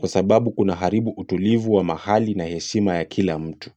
Kwa sababu kuna haribu utulivu wa mahali na heshima ya kila mtu.